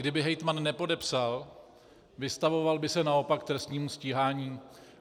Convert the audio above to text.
Kdyby hejtman nepodepsal, vystavoval by se naopak trestnímu stíhání.